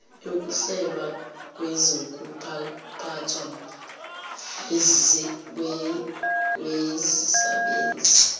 yokuhlelwa kwezokuphathwa kwezisebenzi